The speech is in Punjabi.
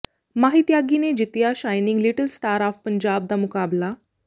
ਮਾਹੀ ਤਿਆਗੀ ਨੇ ਜਿੱਤਿਆ shining little star of Punjab ਦਾ ਮੁਕਾਬਲਾ